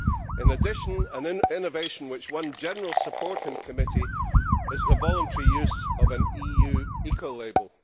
In addition, an innovation which won general support in committee is the voluntary use of an EU eco label.